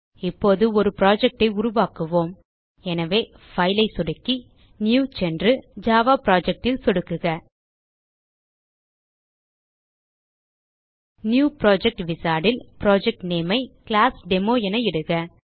இப்போது ஒரு புரொஜெக்ட் ஐ உருவாக்குவோம் எனவே பைல் ஐ சொடுக்கி நியூ சென்று ஜாவா Projectல் சொடுக்குக நியூ புரொஜெக்ட் விசார்ட் ல் புரொஜெக்ட் நேம் ஐ கிளாஸ்டெமோ என இடுக